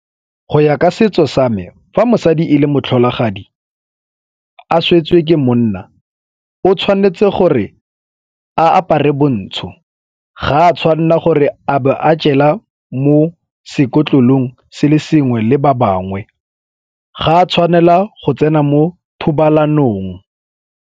Go ya ka setso sa me, fa mosadi e le motlholagadi a swetse ke monna, o tshwanetse gore a apare bontsho ga a tshwanela gore a bo a jela mo sekotlolong se le sengwe le ba bangwe ga a tshwanela go tsena mo thobalanong.